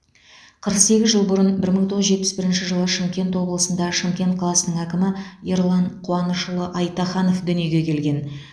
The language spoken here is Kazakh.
қырық сегіз жыл бұрын бір мың тоғыз жүз жетпіс бірінші жылы шымкент облысында шымкент қаласының әкімі ерлан қуанышұлы айтаханов дүниеге келген